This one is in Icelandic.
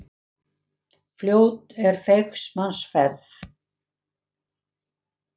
Fljót er feigs manns ferð.